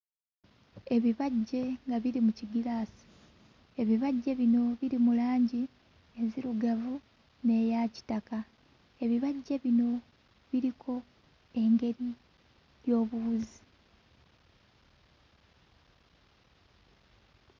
Ebibajje nga biri mu kigiraasi, ebibajje bino biri mu langi enzirugavu n'eya kitaka, ebibajje bino biriko engeri y'obuwuzi.